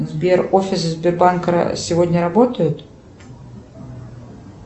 сбер офисы сбербанка сегодня работают